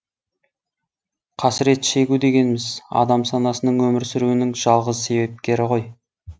қасірет шегу дегеніміз адам санасының өмір сүруінің жалғыз себепкері ғой